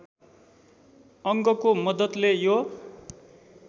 अङ्गको मद्दतले यो